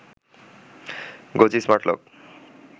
গোজি smart lock